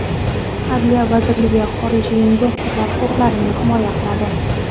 Adliya vazirligi xorijiy investorlar huquqlarini himoya qiladi.